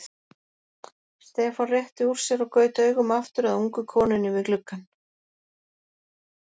Stefán rétti úr sér og gaut augum aftur að ungu konunni við gluggann.